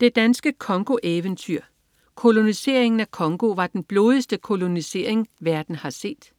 Det danske Congo-eventyr. Koloniseringen af Congo var den blodigste kolonisering, verden har set